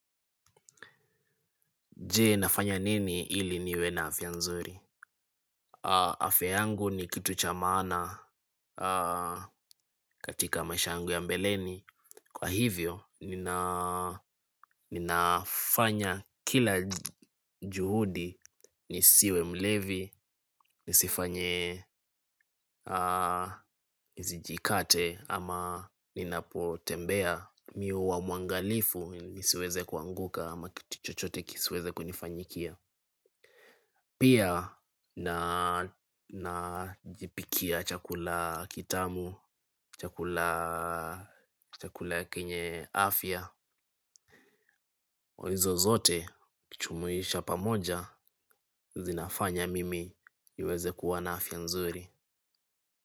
Je nafanya nini ili niwe na afya nzuri? Afya yangu ni kitu cha maana katika maisha yangu ya mbeleni. Kwa hivyo, ninafanya kila juhudi nisiwe mlevi, nisifanye nisijikate ama ninapotembea. Mimi huwa mwangalifu nisiweze kuanguka ama kitu chochote kisiweze kunifanyikia. Pia najipikia chakula kitamu, chakula kenye afya hizo zote ukijumuisha pamoja zinafanya mimi niweze kuwa na afya nzuri.